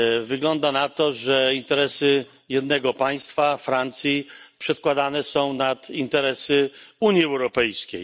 Wygląda na to, że interesy jednego państwa, Francji, przedkładane są nad interesy Unii Europejskiej.